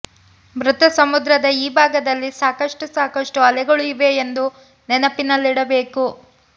ಮೃತ ಸಮುದ್ರದ ಈ ಭಾಗದಲ್ಲಿ ಸಾಕಷ್ಟು ಸಾಕಷ್ಟು ಅಲೆಗಳು ಇವೆ ಎಂದು ನೆನಪಿನಲ್ಲಿಡಬೇಕು